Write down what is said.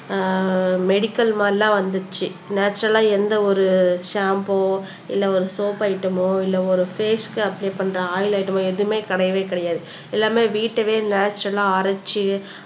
ஆஹ் medical மாதிரிலாம் வந்துருச்சு நேச்சரல்லா எந்த ஒரு ஷாம்பூ இல்லை ஒரு சோப்பு ஐட்டம்மோ இல்லை ஒரு பேஸ்க்கு அப்ளை பண்ற ஆயில் ஐட்டம்மோ எதுவுமே கிடையவே கிடையாது எல்லாமே வீட்டவே நேச்சரல்லா அரைச்சு